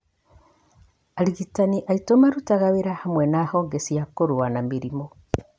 Arigitani aitũ marutaga wĩra hamwe na honge cia kũrũa na mĩrimũ.